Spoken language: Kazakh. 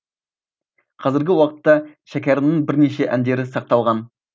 қазіргі уақытта шәкәрімнің бірнеше әндері сақталған